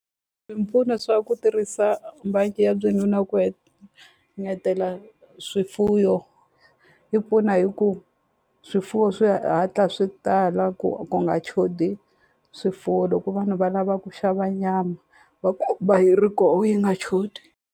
Swipfuno swa ku tirhisa ya na ku ngetela swifuyo yi pfuna hi ku swifuwo swi hatla swi tala ku ku nga chodi swifuwo loko vanhu va lava ku xava nyama va yi ri ko yi nga chodi.